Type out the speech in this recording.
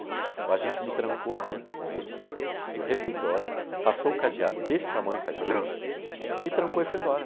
O agente me trancou dentro com eles, do refeitório, passou o cadeado desse tamanho, faz, me trancou e foi embora.